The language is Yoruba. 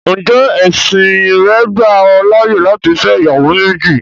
Ǹjẹ́ ẹ̀sìn rẹ́ gbà ọ láyé láti fẹ́ ìyàwó méjì?